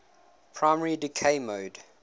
primary decay mode